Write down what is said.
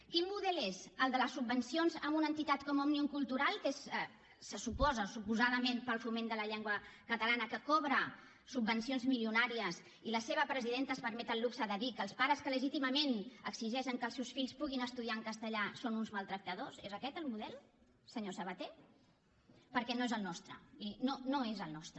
quin model és el de les subvencions a una entitat com òmnium cultural que és se suposa suposadament per al foment de la llengua catalana que cobra subvencions milionàries i la seva presidenta es permet el luxe de dir que els pares que legítimament exigeixen que els seus fills puguin estudiar en castellà són uns maltractadors és aquest el model senyor sabaté perquè no és el nostre miri no no és el nostre